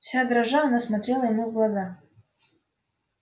вся дрожа она смотрела ему в глаза